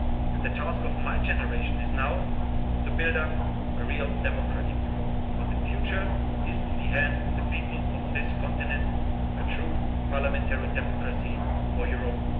and freedom. And the task of my generation now is to build up a real democratic Europe, but the future is in the hands of the people of this continent, a true parliamentary democracy